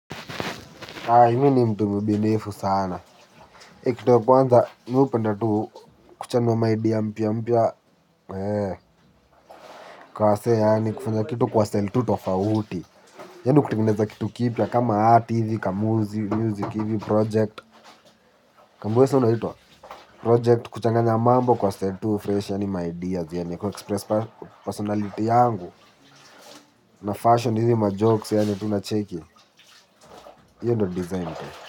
Haa mimi ni mtu mbunifu sana. Ikitu ya kwanza mmi hupenda tu kuchanga maidea mpya mpya. Kwa se yaani kufanya kitu kwa style tu tofauti. Yaani kutengeneza kitu kipya kama art hivi, kamuzi, music hizi, project. Kambuweza unaitwa project kuchanganya mambo kwa seli tu fresh yaani maidea zi yaani kuexpress personality yangu. Na fashion hizi majokes yaani tu unacheki. Iyo ndo design.